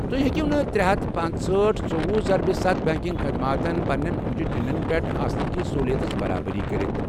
تُہۍ ہیٚکِو نہٕ ترے ہتھ تہٕ پانژہأٹھ، ژوٚوُہ ضربِ ستَھ بنٛکنٛگ خدماتن پنٛنٮ۪ن اوٚنٛگجہِ ٹیٚنٛڈٮ۪ن پٮ۪ٹھ آسنٕہ كِس سہوُلِیتس برابری كرِتھ۔